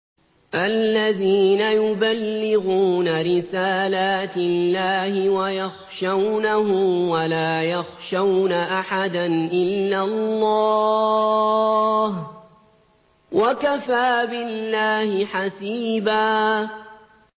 الَّذِينَ يُبَلِّغُونَ رِسَالَاتِ اللَّهِ وَيَخْشَوْنَهُ وَلَا يَخْشَوْنَ أَحَدًا إِلَّا اللَّهَ ۗ وَكَفَىٰ بِاللَّهِ حَسِيبًا